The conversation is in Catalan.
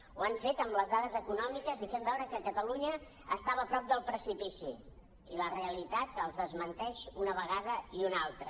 ho han fet amb les dades econòmiques i fent veure que catalunya estava a prop del precipici i la realitat els desmenteix una vegada i una altra